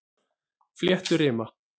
Flétturima